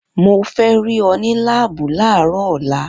Mo fẹ́ rí ọ ní láàbù láàárọ̀ ọ̀la!